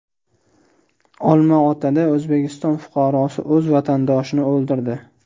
Olmaotada O‘zbekiston fuqarosi o‘z vatandoshini o‘ldirdi.